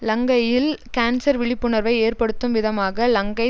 இலங்கையில் கேன்சர் விழிப்புணர்வை ஏற்படுத்தும் விதமாக இலங்கை